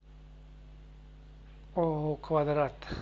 ооо квадрат